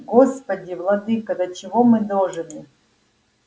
господи владыко до чего мы дожили